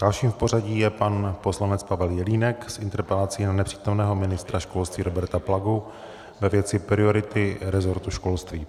Dalším v pořadí je pan poslanec Pavel Jelínek s interpelací na nepřítomného ministra školství Roberta Plagu ve věci priority resortu školství.